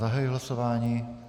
Zahajuji hlasování.